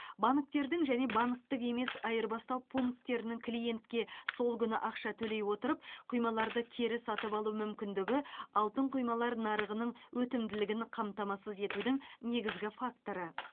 банктердің және банктік емес айырбастау пунктерінің клиентке сол күні ақша төлей отырып құймаларды кері сатып алу мүмкіндігі алтын құймалар нарығының өтімділігін қамтамасыз етудің негізгі факторы